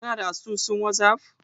Kana da asusun wazaf?